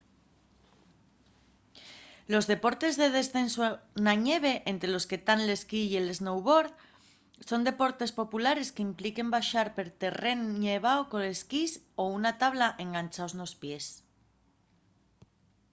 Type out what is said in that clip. los deportes de descensu na ñeve ente los que tán l’esquí y el snowboard son deportes populares qu’impliquen baxar per terrén nevao con esquís o una tabla enganchaos nos pies